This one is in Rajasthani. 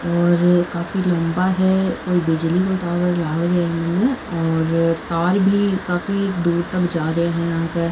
और काफी लम्बा है कोई बिजली को टावर लाग रो ए मने और तार भी काफी दूर तक जा रे है यहाँ के।